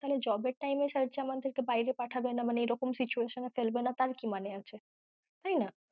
তাহলে job এর time এ sir যে আমাদের কে বায়েরে পাঠাবে না মানে এরকম situation এ ফেলবে না তার কি মানে আছে তাই না